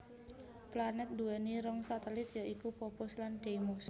Planèt nduwèni rong satelit ya iku Phobos lan Deimos